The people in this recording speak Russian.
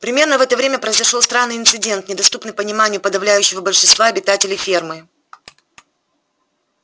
примерно в это время произошёл странный инцидент недоступный пониманию подавляющего большинства обитателей фермы